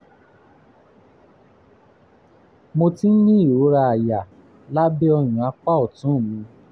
mo ti ń ní ìrora àyà lábẹ́ ọyàn apá ọ̀tún mi